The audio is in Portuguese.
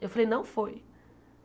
Eu falei, não foi.